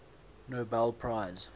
nobel prize